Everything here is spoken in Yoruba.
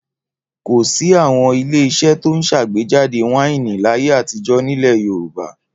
Kò sí àwọn ilé-iṣẹ́ tó ń ṣàgbéjáde wáìnì láyé àtijọ́ nílẹ̀ Yorùbá.